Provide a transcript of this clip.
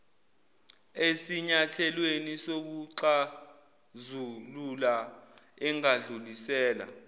esinyathelweni sokuxazulula engadlulisela